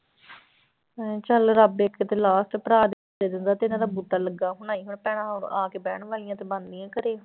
ਹਾਂ ਚੱਲ ਰੱਬ ਇੱਕ ਤੇ last ਭਰਾ ਦੇ ਦਿੰਦਾ ਤੇ ਇਹਨਾਂ ਦਾ ਬੂਟਾ ਲੱਗਾ ਹੋਣਾ ਸੀ, ਹੁਣ ਭੈਣਾ ਆ ਕੇ ਬਹਿਣ ਵਾਲੀਆਂ ਤੇ ਬਣਦੀਆਂ ਘਰੇ।